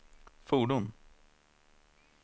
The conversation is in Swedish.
fordon